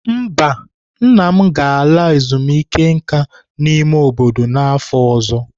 Mba, nna m ga-ala ezumike nka n'ime obodo n'afọ ọzọ.